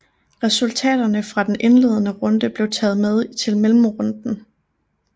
Resultaterne fra den indledende runde blev taget med til mellemrunden